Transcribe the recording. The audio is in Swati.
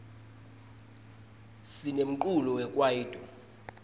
sinemculo wekwaito